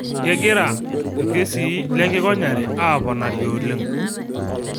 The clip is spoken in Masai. Kegira lkeesi lenkikonyare aaponari oleng'